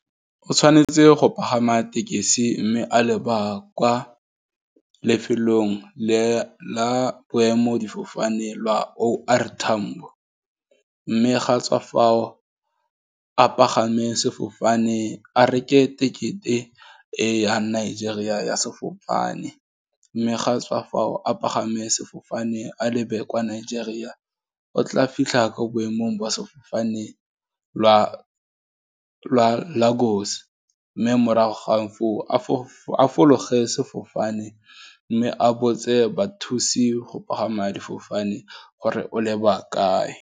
O tshwanetse go pagama tekesi, mme a lebaka kwa lefelong la boemo difofane lwa O R Tambo, mme ga tswa fao a pagame sefofane a reke ticket-e, e ya Nigeria ya sefofane, mme ga tswa fao a pagame sefofane a lebe kwa Nigeria o tla fitlha ko boemong lwa Lago's, mme morago ga foo a fologe sefofane, mme a botse bathusi go pagama difofane gore o leba kae.